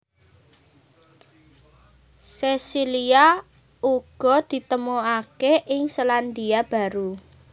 Sesilia uga ditemokaké ing Selandia Baru